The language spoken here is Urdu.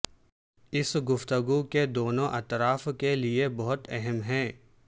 اس گفتگو کے دونوں اطراف کے لئے بہت اہم ہے